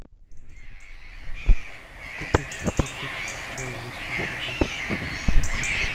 купить в пакетиках чай лисма одну пачку